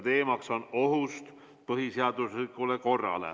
Teemaks on oht põhiseaduslikule korrale.